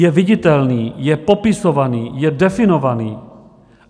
Je viditelný, je popisovaný, je definovaný.